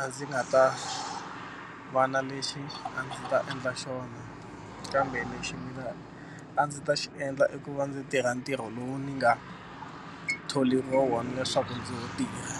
a ndzi nga ta va na lexi a ndzi ta endla xona kambe lexi mina a ndzi ta xi endla i ku va ndzi tirha ntirho lowu ni nga tholeriwa wona leswaku ndzi wu tirha.